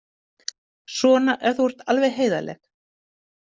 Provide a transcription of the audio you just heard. Svona ef þú ert alveg heiðarleg.